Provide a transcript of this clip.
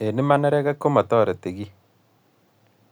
eng Iman neregek komatoreti kiiy